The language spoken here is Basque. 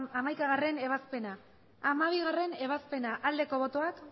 hamaikagarrena ebazpena hamabigarrena ebazpena aldeko botoak